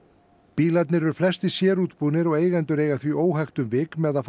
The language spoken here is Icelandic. bílarnir eru flestir sérútbúnir og eigendur eiga því óhægt um vik með að